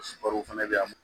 Baro fɛnɛ be yan